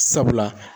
Sabula